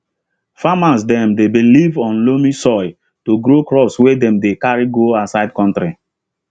farmers dem dey believe on loamy soil to grow crops wey dem dey carry go outside country